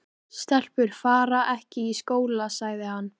Stelpur fara ekki í skóla, sagði hann.